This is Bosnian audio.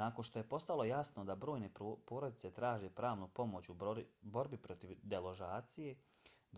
nakon što je postalo jasno da brojne porodice traže pravnu pomoć u borbi protiv deložacija